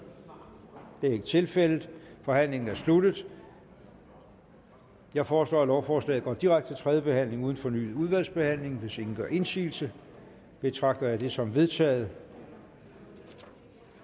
det er ikke tilfældet forhandlingen er sluttet jeg foreslår at lovforslaget går direkte til tredje behandling uden fornyet udvalgsbehandling hvis ingen gør indsigelse betragter jeg det som vedtaget